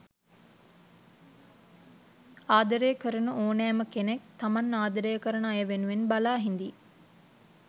ආදරය කරන ඕනෑම කෙනෙක් තමන් ආදරය කරන අය වෙනුවෙන් බලා හිඳියි.